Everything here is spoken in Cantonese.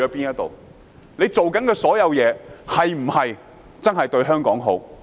他們做的所有事，是否真的為香港好？